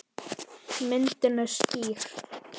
Myndin er skýr.